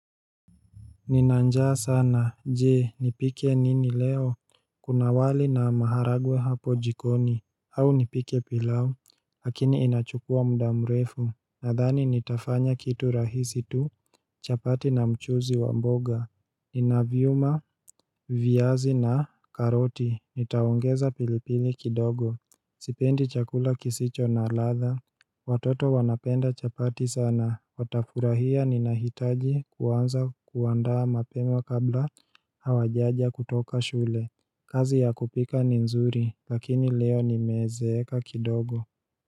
Nina njaa sana, je, nipike nini leo Kuna wali na maharagwe hapo jikoni au nipike pilau lakini inachukuwa muda mrefu Nadhani nitafanya kitu rahisi tu chapati na mchuzi wa mboga Ninavyuma viazi na karoti Nitaongeza pilipili kidogo Sipendi chakula kisicho na ladha Watoto wanapenda chapati sana Watafurahia ninahitaji kuanza kuandaa mapema kabla hawajaja kutoka shule kazi ya kupika ni nzuri lakini leo nimezeeka kidogo.